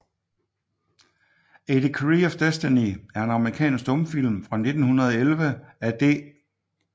A Decree of Destiny er en amerikansk stumfilm fra 1911 af D